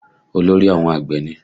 Olórí àwọn àgbẹ̀ ni?